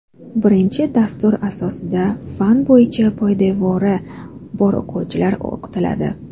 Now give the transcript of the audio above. Birinchi dastur asosida fan bo‘yicha poydevori bor o‘quvchilar o‘qitiladi.